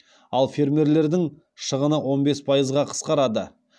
ал фермерлердің шығыны он бес пайызға қысқарады